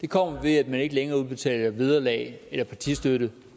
kommer ved at man ikke længere udbetaler vederlag eller partistøtte